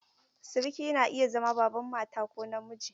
Siriki na iya zama Baban mata ko na miji.